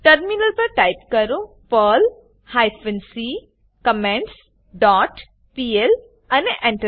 terminal પર type કરોperl hyphen c comments dot PL અને Enter